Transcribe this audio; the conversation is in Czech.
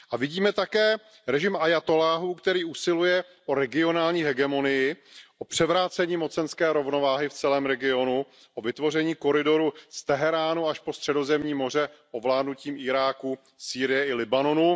A vidíme také režim ajatolláhů, který usiluje o regionální hegemonii, o převrácení mocenské rovnováhy v celém regionu, o vytvoření koridoru z Teheránu až po Středozemní moře ovládnutím Iráku, Sýrie i Libanonu.